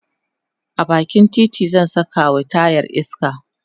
a bakin titi zan Saka wa tayar iska